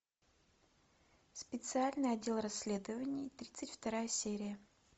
специальный отдел расследований тридцать вторая серия